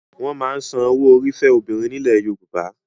Wọ́n máa ń san owó orí fẹ́ obìnrin nílẹ̀ Yorùbá.